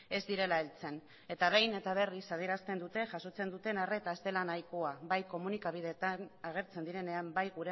ez direla heltzen eta behin eta berriz adierazten dute jasotzen dutena ez dela nahikoa bai komunikabideetan agertzen direnean bai